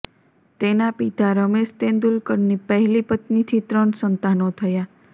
તેના પિતા રમેશ તેંદુલકરની પહેલી પત્નીથી ત્રણ સંતાનો થયા